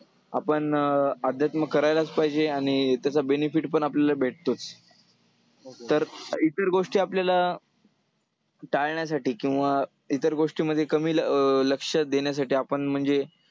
आपण अं अध्यात्म करायलाच पाहिजे आणि त्याचा benefit पण आपल्याला भेटतोच . तर इतर गोष्टी आपल्याला टाळण्यासाठी किंवा इतर गोष्टींमध्ये कमी लक्ष देण्यासाठी आपण म्हणजे